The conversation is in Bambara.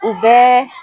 U bɛɛ